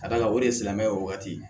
Ka d'a kan o de ye silamɛya o wagati